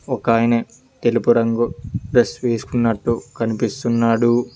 ఒకాయనె తెలుపు రంగు డ్రెస్ వేసుకున్నట్టు కనిపిస్తున్నాడు.